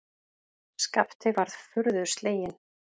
Skapti var furðu sleginn.